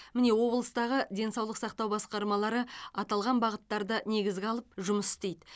міне облыстардағы денсалық сақтау басқармалары аталған бағыттарды негізге алып жұмыс істейді